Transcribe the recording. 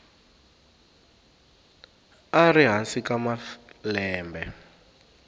a ri hansi ka malembe